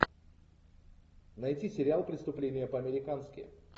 найти сериал преступление по американски